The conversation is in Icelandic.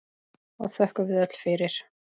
og þökkum við öll fyrir.